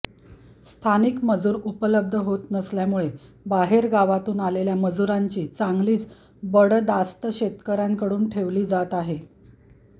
स्थानिक मजूर उपलब्ध होत नसल्यामुळे बाहेर गावातून आलेल्या मजुरांची चांगलीच बडदास्त शेतकऱ्यांकडून ठेवली जात आहे